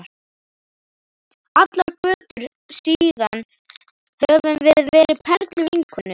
Allar götur síðan höfum við verið perluvinkonur.